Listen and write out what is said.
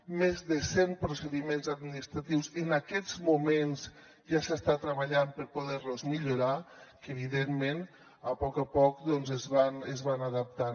en més de cent procediments administratius en aquests moments ja s’està treballant per poder los millorar i que evidentment a poc a poc doncs es van adaptant